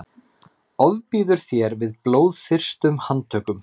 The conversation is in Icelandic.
ofbýður þér við blóðþyrstum handtökum